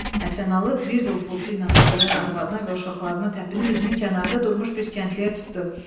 Həsənalı bir də ufulutu ilə ağlayan arvadına və uşaqlarına təpinib üzünü kənarda durmuş bir kəndliyə tutdu.